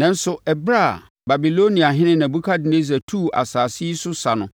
Nanso, ɛberɛ a Babiloniahene Nebukadnessar tuu asase yi so sa no,